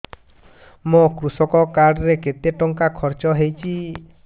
ମୋ କୃଷକ କାର୍ଡ ରେ କେତେ ଟଙ୍କା ଖର୍ଚ୍ଚ ହେଇଚି